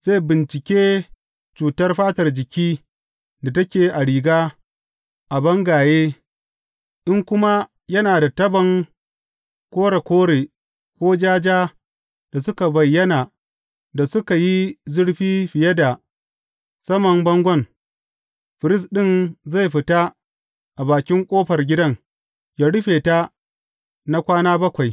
Zai bincike cutar fatar jiki da take a riga a bangaye, in kuma yana da tabon kore kore ko ja ja da suka bayyana da suka yi zurfi fiye da saman bangon, firist ɗin zai fita a bakin ƙofar gidan ya rufe ta na kwana bakwai.